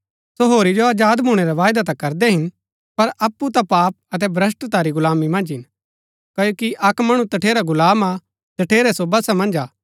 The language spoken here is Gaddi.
सो होरी जो अजाद भूणै रा वायदा ता करदै हिन पर अप्पु ता पाप अतै भ्रष्‍टता री गुलामी मन्ज हिन क्ओकि अक्क मणु तठेरा गुलाम हा जठेरै सो वशा मन्ज हा